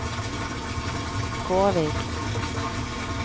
Kårvik